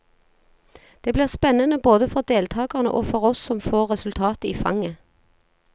Det blir spennende både for deltagerne og for oss som får resultatet i fanget.